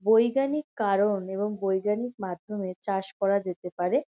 বৈজ্ঞানিক কারণ এবং বৈজ্ঞানিক মাধ্যমে চাষ করা যেতে পারে।